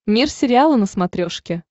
мир сериала на смотрешке